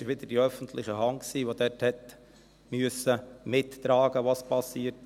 Es war wieder die öffentliche Hand, die dort helfen musste, mitzutragen, was geschehen war.